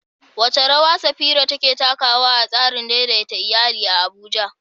Wace rawa Safira take takawa a tsarin daidaita iyali a Abuja?